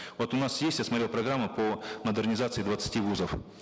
вот у нас есть я смотрел программу по модернизации двадцати вузов